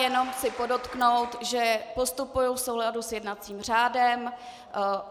Jenom chci podotknout, že postupuji v souladu s jednacím řádem.